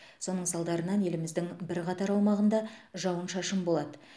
соның салдарынан еліміздің бірқатар аумағында жауын шашын болады